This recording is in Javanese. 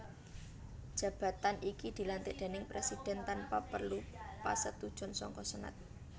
Jabatan iki dilantik déning Presidhèn tanpa perlu pasetujon saka Senat